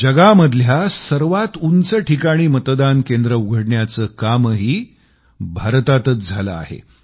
जगातील सर्वात उंच स्थानी मतदान केंद्र उघडण्याचं कामही भारतातचं झालं आहे